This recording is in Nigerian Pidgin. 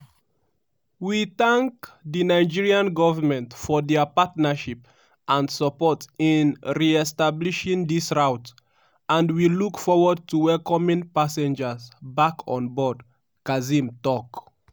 "we tank di nigerian government for dia partnership and support in re-establishing dis route and we look forward to welcoming passengers back onboard" kazim tok.